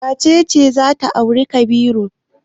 Wace ce za ta auri Kabiru?